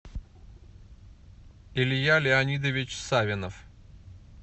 илья леонидович савинов